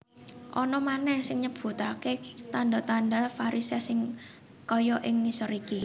Ana manèh sing nyebutaké tandha tandha varisès kaya ing ngisor iki